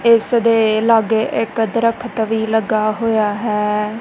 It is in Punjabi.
ਇੱਸਦੇ ਲੱਗੇ ਇੱਕ ਦ੍ਰਖਤ ਵੀ ਲੱਗਾ ਹੋਯਾ ਹੈ।